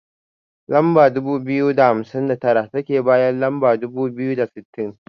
Lamba dubu biyu da hamsin da tara, take bayan lamba dubu biyu da sittin.